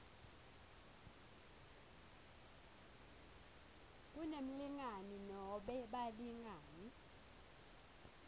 kunemlingani nobe balingani